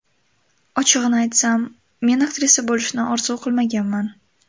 Ochig‘ini aytsam, men aktrisa bo‘lishni orzu qilmaganman.